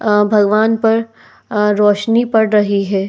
अ भगवान पर अ रोशनी पड़ रही है।